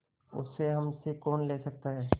उसे हमसे कौन ले सकता है